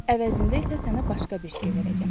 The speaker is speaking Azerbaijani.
Əvəzində isə sənə başqa bir şey verəcəm.